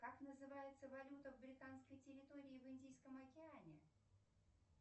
как называется валюта в британской территории в индийском океане